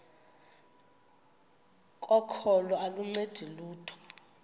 kokholo aluncedi lutho